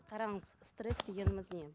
қараңыз стресс дегеніміз не